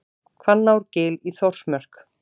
Hvannárgil í Þórsmörk.